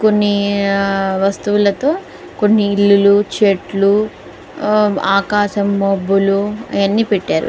కొన్ని వస్తువులతో కొన్ని ఇల్లుచెట్లు ఆకాశం మబ్బులు ఆయన్ని పెట్టారు.